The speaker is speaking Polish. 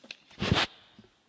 Pani Przewodnicząca!